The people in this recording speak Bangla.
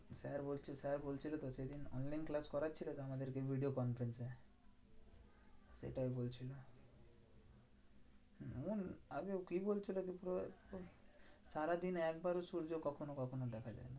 Sir বলছে sir বলছিলোতো সেদিন। online class করাচ্ছিল তো আমাদেরকে video conference এ। সেটাই বলছিলো এমন আগে ও কি বলছিলো যে পুরো সারাদিনে একবারও সূর্য কখনও কখনও দেখা যায়।